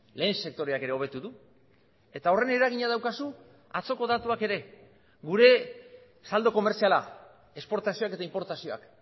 lehen sektoreak ere hobetu du eta horren eragina daukazu atzoko datuak ere gure saldo komertziala esportazioak eta inportazioak